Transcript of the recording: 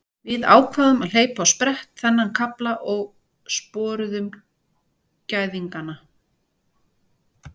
Við ákváðum að hleypa á sprett þennan kafla og sporuðum gæðingana.